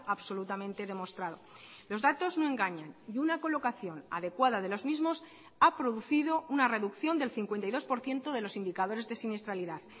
absolutamente demostrado los datos no engañan y una colocación adecuada de los mismos ha producido una reducción del cincuenta y dos por ciento de los indicadores de siniestralidad